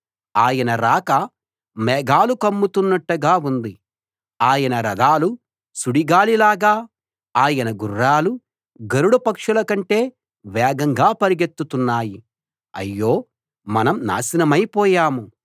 ఆయన రాక మేఘాలు కమ్ముతున్నట్టుగా ఉంది ఆయన రథాలు సుడిగాలిలాగా ఆయన గుర్రాలు గరుడ పక్షుల కంటే వేగంగా పరుగెత్తుతున్నాయి అయ్యో మనం నాశనమై పోయాం